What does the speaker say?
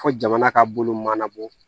Fo jamana ka bolo mana bɔ